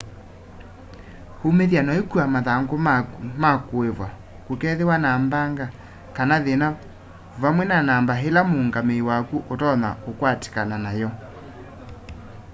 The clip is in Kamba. umĩthya na ũikua mathangũ maku ma kũĩvwa kũkethĩwa na mbanga kana thĩna vamwe na namba ĩla mũũngamĩi waku ũtonya ũkwatĩkana nam'yo